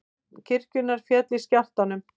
Turn kirkjunnar féll í jarðskjálftanum